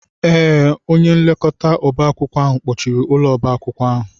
Ee, onye nlekọta oba akwụkwọ ahụ kpọchiri ụlọ oba akwụkwọ ahụ.